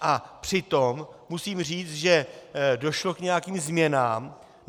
A přitom musím říct, že došlo k nějakým změnám.